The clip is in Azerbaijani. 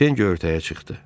Pen göyərtəyə çıxdı.